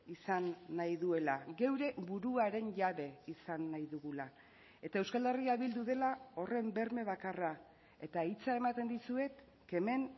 izan nahi duela geure buruaren jabe izan nahi dugula eta euskal herria bildu dela horren berme bakarra eta hitza ematen dizuet kemen